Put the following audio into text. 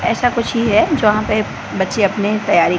ऐसा कुछ ही है जहां पे बच्चे अपने तैयारी--